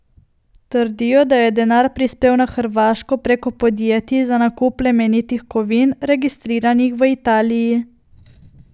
Trdijo, da je denar prispel na Hrvaško preko podjetij za nakup plemenitih kovin, registriranih v Italiji.